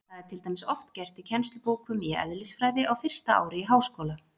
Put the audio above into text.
Það er til dæmis oft gert í kennslubókum í eðlisfræði á fyrsta ári í háskóla.